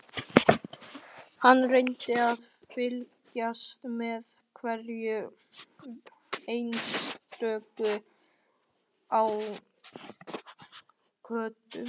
Hann reyndi að fylgjast með hverjum einstökum á götunni.